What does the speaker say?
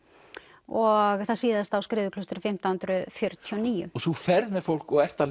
og það síðasta á Skriðuklaustri fimmtán hundruð fjörutíu og níu þú ferð með fólk og ert að